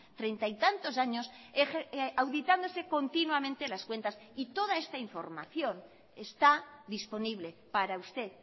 treinta y tantos años auditándose continuamente las cuentas y toda esta información está disponible para usted